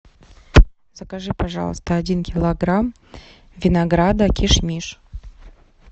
закажи пожалуйста один килограмм винограда киш миш